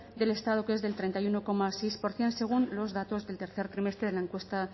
del estado que es del treinta y uno coma seis por ciento según los datos del tercer trimestre de la encuesta